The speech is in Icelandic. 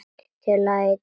Til að eitra líf þeirra.